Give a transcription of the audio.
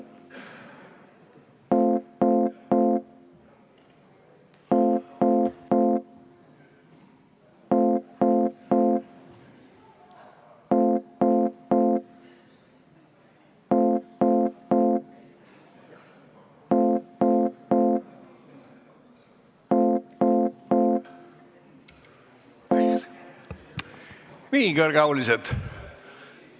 Nii, kõrgeaulised!